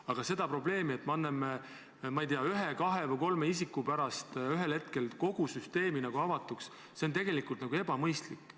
Aga see, et me anname ühe, kahe või kolme isiku pärast ühel hetkel kogu süsteemi avatuks, ei ole tegelikult mõistlik.